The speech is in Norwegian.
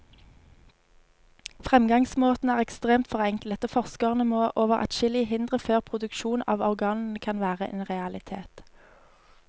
Fremgangsmåten er ekstremt forenklet, og forskerne må over adskillige hindre før produksjon av organene kan være en realitet.